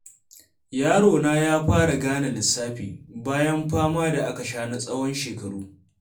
Yarona ya fara gane lissafi, bayan fama da aka sha na tsawon shekaru.